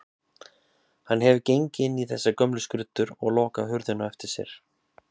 Hann hefur gengið inn í þessar gömlu skruddur og lokað hurðinni á eftir sér.